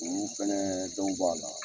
U fana denw b'a la